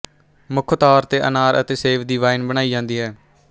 ਮੁੱਖ ਤੌਰ ਤੇ ਅਨਾਰ ਅਤੇ ਸੇਬ ਦੀ ਵਾਈਨ ਬਣਾਈ ਜਾਂਦੀ ਹੈ